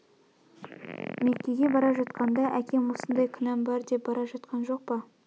мекеге бара жатқанда да әкем осындай күнәм бар деп бара жатқан жоқ па